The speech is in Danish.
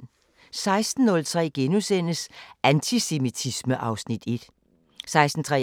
16:03: Antisemitisme (Afs. 1)* 16:33: